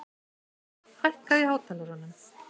Malla, hækkaðu í hátalaranum.